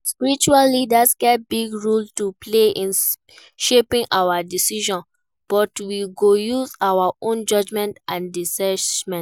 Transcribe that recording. Spiritual leaders get big role to play in shaping our decisions, but we go use our own judgment and discernment.